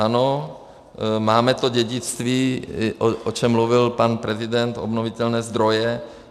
Ano, máme to dědictví, o čem mluvil pan prezident, obnovitelné zdroje.